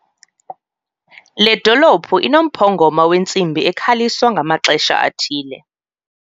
Le dolophu inomphongoma wentsimbi ekhaliswa ngamaxesha athile.